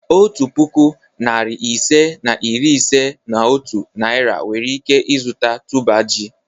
Otu puku, narị ise na iri ise na otu Naira nwere ike zụta tuber ji.